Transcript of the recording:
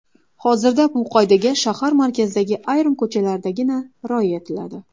Hozirda bu qoidaga shahar markazidagi ayrim ko‘chalardagina rioya etiladi.